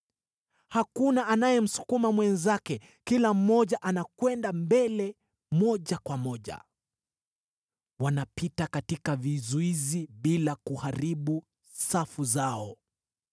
Hakuna anayemsukuma mwenzake; kila mmoja anakwenda mbele moja kwa moja. Wanapita katika vizuizi bila kuharibu safu zao.